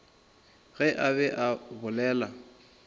ge a be a bolela